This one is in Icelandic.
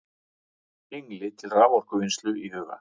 Hengli til raforkuvinnslu í huga.